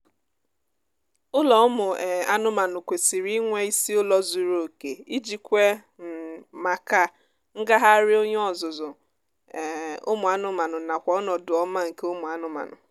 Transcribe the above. ụlọ ụmụ um anụmaanụ kwesịrị inwe isi ụlọ zuru oke iji kwe um maka ngagharị onye ọzụzụ um ụmụ anụmaanụ nakw ọnọdụ ọma nke ụmụ anụmanụ